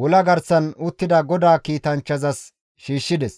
wola garsan uttida GODAA kiitanchchazas shiishshides.